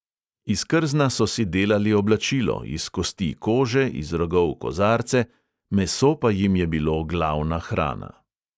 Iz krzna so si delali oblačilo, iz kosti kože, iz rogov kozarce, meso pa jim je bilo glavna hrana.